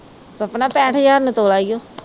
ਸਪਨਾ ਪੈਠ ਹਜ਼ਾਰ ਨੂੰ ਤੋਲਾ ਈਓ।